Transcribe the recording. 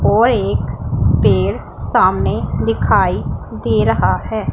और एक पेड़ सामने दिखाई दे रहा है।